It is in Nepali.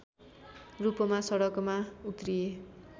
रूपमा सडकमा उत्रिए